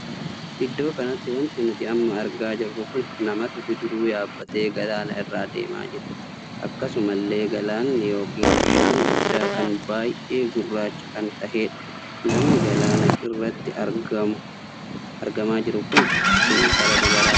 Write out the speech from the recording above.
Iddoo kanatti wanti nuti amma argaa jirru kun namatu bidiruu yaabbatee galaana irra adeemaa jira. akkasuma illee galaanni ykn bishaan guddaa kun baay'ee gurraacha kan taheedha. namni galaana kana irratti argamaa jiru kun intala dubaraadha.